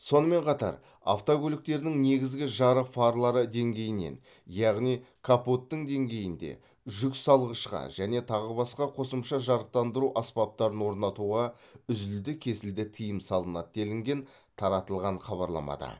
сонымен қатар автокөліктердің негізгі жарық фарлары деңгейінен яғни капоттың деңгейінде жүксалғышқа және тағы басқа қосымша жарықтандыру аспаптарын орнатуға үзілді кесілді тыйым салынады делінген таратылған хабарламада